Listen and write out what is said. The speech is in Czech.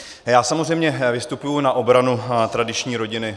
Já samozřejmě vystupuji na obranu tradiční rodiny.